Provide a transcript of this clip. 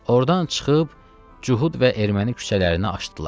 Ordan çıxıb Cühud və Erməni küçələrinə açdılar.